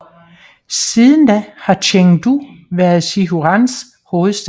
Siden da har Chengdu været Sichuans hovedstad